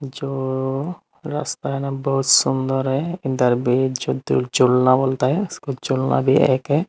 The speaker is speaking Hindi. जो रास्ता एदम बहुत सुंदर है जो झूलना बोलता है इसके झूलना भी एक है।